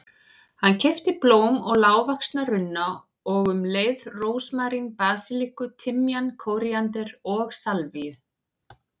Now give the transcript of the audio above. Hann keypti blóm og lágvaxna runna og um leið rósmarín, basilíku, timjan, kóríander og salvíu.